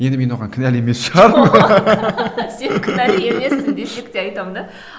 енді мен оған кінәлі емес шығармын сен кінәлі емессің десек те айтамын да